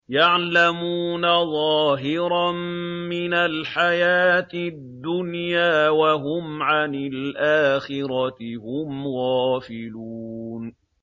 يَعْلَمُونَ ظَاهِرًا مِّنَ الْحَيَاةِ الدُّنْيَا وَهُمْ عَنِ الْآخِرَةِ هُمْ غَافِلُونَ